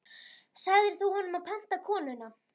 Sagðir þú honum að panta konuna?